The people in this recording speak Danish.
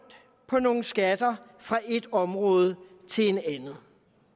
på nogle skatter flytter fra et område til et andet